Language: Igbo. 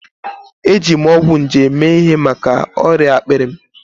Eji m ọgwụ nje mee ihe maka ọrịa akpịrị m.